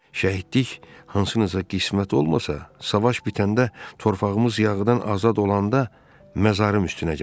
Şəhidlik hansımıza qismət olmasa, savaş bitəndə torpağımız yağıdan azad olanda məzarım üstünə gəlin.